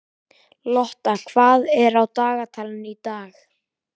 Lotta, hvað er á dagatalinu í dag?